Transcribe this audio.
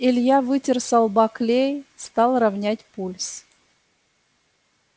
илья вытер со лба клей стал ровнять пульс